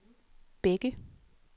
Bække